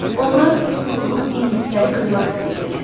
Onlar pusqu qurub ingilisləri qırmaq istəyirdilər.